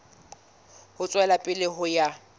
ho tswela pele ho ya